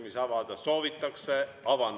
Läbirääkimisi soovitakse avada.